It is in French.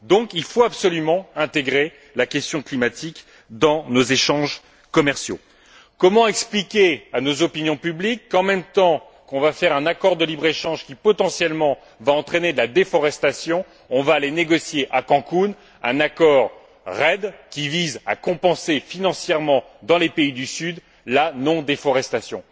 Il faut donc absolument intégrer la question climatique dans nos échanges commerciaux. Comment expliquer à nos opinions publiques qu'en même temps qu'on va conclure un accord de libre échange qui, potentiellement, va entraîner de la déforestation, on va aller négocier à Cancún un accord REDD qui vise à compenser financièrement, dans les pays du Sud, la non déforestation?